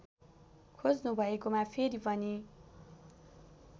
खोज्नुभएकोमा फेरि पनि